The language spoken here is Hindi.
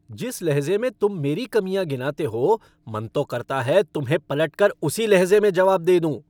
जिस लहज़े में तुम मेरी कमियाँ गिनाते हो, मन तो करता है तुम्हें पलटकर उसी लहज़े में जवाब दे दूँ।